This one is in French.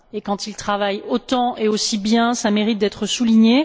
Et quand il travaille autant et aussi bien, cela mérite d'être souligné.